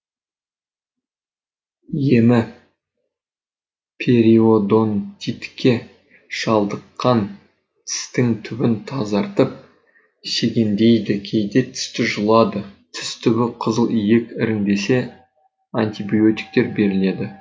емі периодонтитке шалдыққан тістің түбін тазартып шегендейді кейде тісті жұлады тіс түбі қызыл иек іріңдесе антибиотиктер беріледі